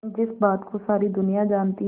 जिस बात को सारी दुनिया जानती है